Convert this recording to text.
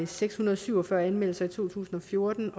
seks hundrede og syv og fyrre anmeldelser i to tusind og fjorten